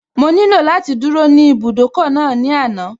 Mo nílò láti dúró ní ibùdókọ̀ náà ní àná